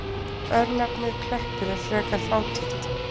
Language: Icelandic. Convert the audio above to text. Örnefnið Kleppur er frekar fátítt.